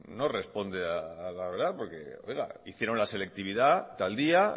no responde a la verdad porque hicieron la selectividad tal día